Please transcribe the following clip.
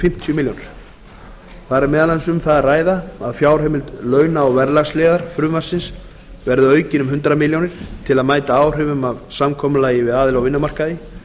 fimmtíu milljónir króna þar er meðal annars um það að ræða að fjárheimild launa og verðlagsliðar frumvarpsins verði aukin um hundrað milljónir króna til að mæta áhrifum af samkomulagi við aðila á vinnumarkaði